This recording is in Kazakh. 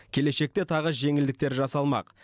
келешекте тағы жеңілдіктер жасалмақ